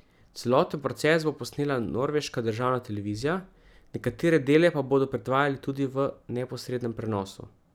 Celoten proces bo posnela norveška državna televizija, nekatere dele pa bodo predvajali tudi v neposrednem prenosu.